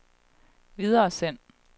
videresend